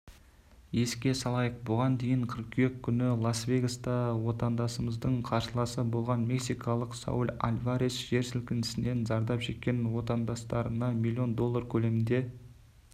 еске салайық бұған дейін қыркүйек күні лас-вегаста отандасымыздың қарсыласы болған мексикалық сауль альварес жер сілкінісінен зардап шеккен отандастарына миллион доллар көлемінде